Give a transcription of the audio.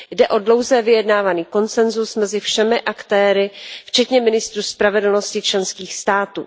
Jde o dlouze vyjednávaný konsenzus mezi všemi aktéry, včetně ministrů spravedlnosti členských států.